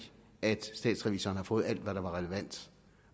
at statsrevisoren har fået alt hvad der var relevant